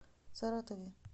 саратове